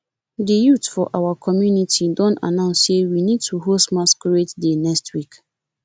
the youths for our community don announce say we need to host masquerade day next week